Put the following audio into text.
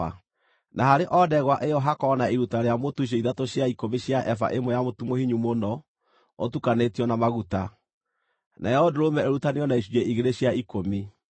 Na harĩ o ndegwa ĩyo hakorwo na iruta rĩa mũtu icunjĩ ithatũ cia ikũmi cia eba ĩmwe ya mũtu mũhinyu mũno ũtukanĩtio na maguta; nayo ndũrũme ĩrutanĩrio na icunjĩ igĩrĩ cia ikũmi;